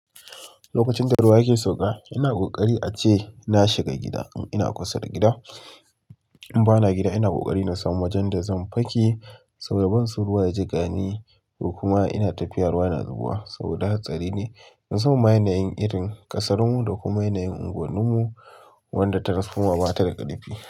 Lokacin da ruwa yake sauƙa, ina ƙoƙari ace na shiga gida in ina kusa da gida. In ba na gida ina ƙoƙari na samu wajen da zan fake saboda ban so ruwa ya jiƙani, ko kuma ina tafiya ruwa na zubowa saboda hatsari ne. Musamman ma yanayin ƙasar mu da kuma yanayin ungunnin mu wanda transformer bata da ƙarfi.